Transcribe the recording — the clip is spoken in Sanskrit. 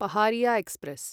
पहारिया एक्स्प्रेस्